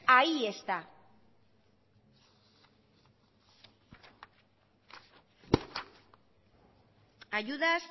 ahí está ayudas